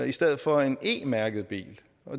i stedet for en e mærket bil